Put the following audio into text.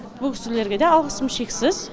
бұл кісілерге де алғысым шексіз